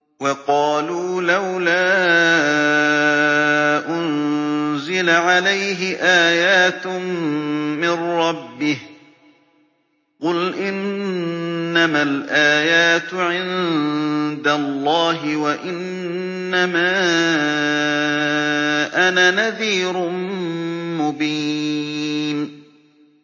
وَقَالُوا لَوْلَا أُنزِلَ عَلَيْهِ آيَاتٌ مِّن رَّبِّهِ ۖ قُلْ إِنَّمَا الْآيَاتُ عِندَ اللَّهِ وَإِنَّمَا أَنَا نَذِيرٌ مُّبِينٌ